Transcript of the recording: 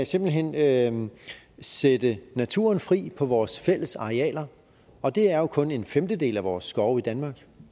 simpelt hen kan sætte naturen fri på vores fælles arealer og det er jo kun en femtedel af vore skove i danmark